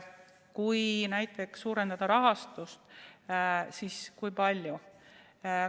Kui näiteks suurendada rahastust, siis kui palju?